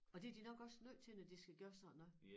Og det de nok også nødt til når de skal gøre sådan noget